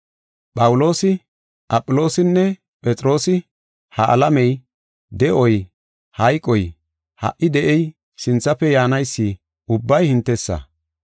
Phawuloosi, Aphiloosinne Phexroosi, ha alamey, de7oy, hayqoy, ha77i de7ey, sinthafe yaanaysi, ubbay hintesa.